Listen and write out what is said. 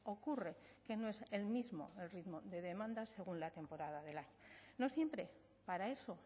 ocurre que no es el mismo el ritmo de demandas según la temporada del año no siempre para eso